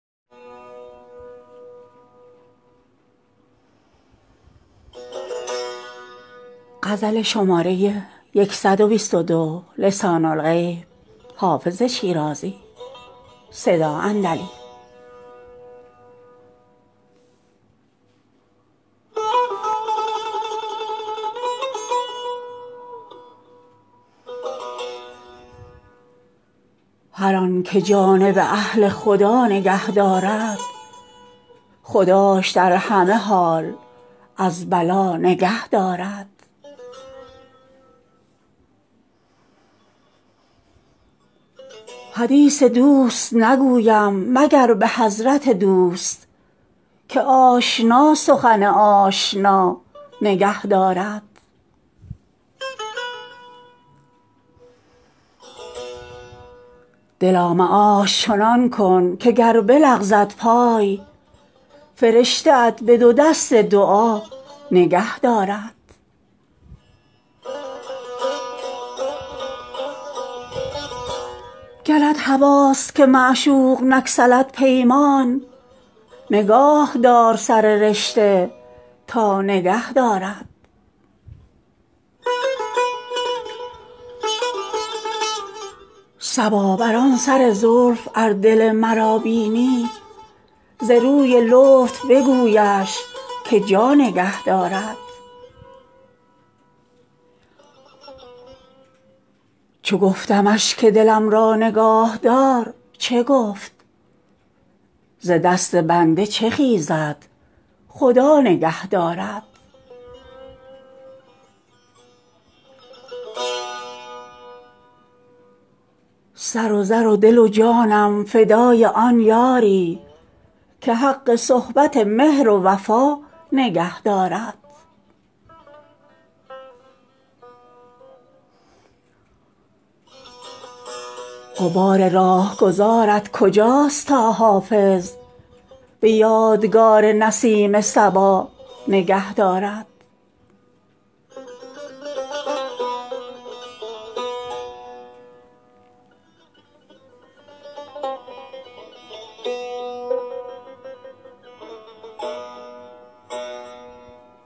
هر آن که جانب اهل خدا نگه دارد خداش در همه حال از بلا نگه دارد حدیث دوست نگویم مگر به حضرت دوست که آشنا سخن آشنا نگه دارد دلا معاش چنان کن که گر بلغزد پای فرشته ات به دو دست دعا نگه دارد گرت هواست که معشوق نگسلد پیمان نگاه دار سر رشته تا نگه دارد صبا بر آن سر زلف ار دل مرا بینی ز روی لطف بگویش که جا نگه دارد چو گفتمش که دلم را نگاه دار چه گفت ز دست بنده چه خیزد خدا نگه دارد سر و زر و دل و جانم فدای آن یاری که حق صحبت مهر و وفا نگه دارد غبار راهگذارت کجاست تا حافظ به یادگار نسیم صبا نگه دارد